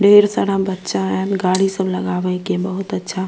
ढेर सारा बच्चा ऐल गाड़ी सब लगावे के बहुत अच्छा --